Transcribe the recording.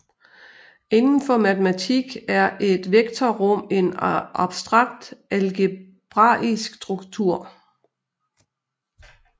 Inden for matematik er et vektorrum en abstrakt algebraisk struktur